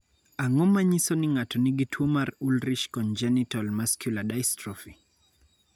Ang�o ma nyiso ni ng�ato nigi tuo mar Ullrich congenital muscular dystrophy?